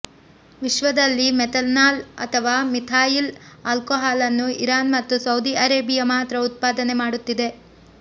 ವಿಶ್ವದಲ್ಲಿ ಮೆಥನಾಲ್ ಅಥವಾ ಮಿಥಾಯಿಲ್ ಆಲ್ಕೋಹಾಲನ್ನು ಇರಾನ್ ಮತ್ತು ಸೌದಿ ಅರೇಬಿಯಾ ಮಾತ್ರ ಉತ್ಪಾದನೆ ಮಾಡುತ್ತಿದೆ